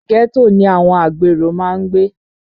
Ghetto ni àwọn agbèrò máa ń gbé